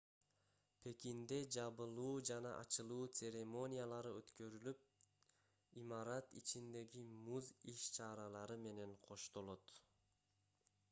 пекинде жабылуу жана ачылуу церемониялары өткөрүлүп имарат ичиндеги муз иш-чаралары менен коштолот